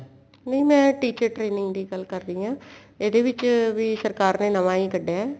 ਨਹੀਂ ਮੈਂ teacher training ਦੀ ਗੱਲ ਕਰ ਰਹੀ ਆ ਇਹਦੇ ਵਿੱਚ ਵੀ ਸਰਕਾਰ ਨੇ ਨਵਾ ਹੀ ਕੱਡਿਏ